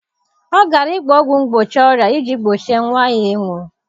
Ọ gara ịgba ọgwụ mgbochi ọrịa iji gbochie nwa ya ịnwụ.